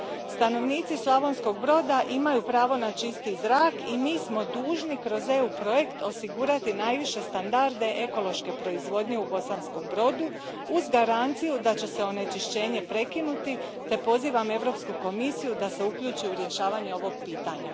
Stanovnici Slavonskog Broda imaju pravo na čisti zrak i mi smo dužni kroz EU projekt osigurati najviše standarde ekološke proizvodnje u Bosanskom Brodu, uz garanciju da će se onečišćenje prekinuti, te pozivam Europsku komisiju da se uključi u rješavanje ovog pitanja.